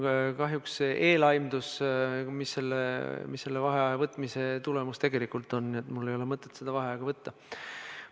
Mul on kahjuks eelaimus, mis selle vaheaja võtmise tegelik tulemus on, nii et mul ei ole mõtet seda vaheaega võtta.